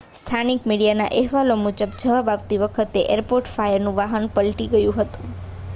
સ્થાનિક મીડિયાના અહેવાલો મુજબ જવાબ આપતી વખતે એરપોર્ટ ફાયરનું વાહન પલટી ગયું હતું